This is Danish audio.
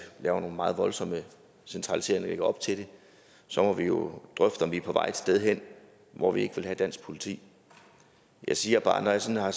laver en meget voldsom centralisering op til det så må vi jo drøfte om vi er på vej et sted hen hvor vi ikke vil have dansk politi jeg siger bare at når jeg sådan har